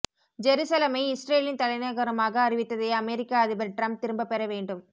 ஜெருசலமை இஸ்ரேலின் தலைநகரமாக அறிவித்ததை அமெரிக்க அதிபர் டிரம்ப் திரும்ப பெற வேண்டும்